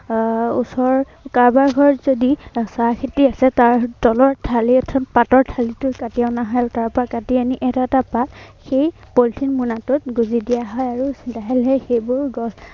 আহ ওচৰৰ কাৰোবাৰ ঘৰত যদি চাহ খেতি আছে, তাৰ তলৰ ঠালি, অৰ্থাৎ পাতৰ ঠালিটো কাটি অনা হয় আৰু তাৰপৰা এনেই এটা এটা পাত সেই পলিথিন মোনাটোত গুঁজি দিয় হয় আৰু লাহে লাহে সেইবোৰ গছ